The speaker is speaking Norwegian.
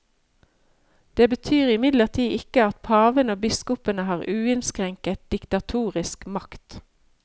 Det betyr imidlertid ikke at paven og biskopene har uinnskrenket, diktatorisk makt.